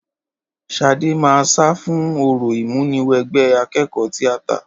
Ṣadé máa sá fún orò ìmúniwẹgbẹ́ akẹ́kọ̀ọ́ tíátà